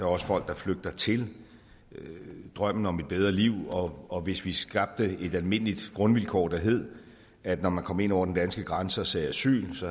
også folk der flygter til drømmen om et bedre liv og og hvis vi skabte et almindeligt grundvilkår der hed at når man kom ind over den danske grænse og sagde asyl så